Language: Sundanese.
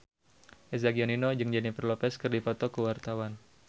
Eza Gionino jeung Jennifer Lopez keur dipoto ku wartawan